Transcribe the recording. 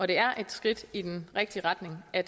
det er et skridt i den rigtige retning at